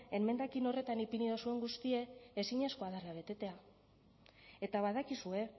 emendakin horretan ipini dozuen guztie ezinezkoa dala betetea eta badakizue